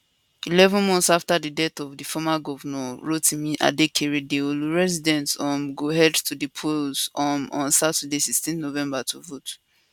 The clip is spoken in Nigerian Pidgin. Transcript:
eleven months afta di death of di former governnor rotimi akeredolu residents um go head to di polls um on saturday 16 november to vote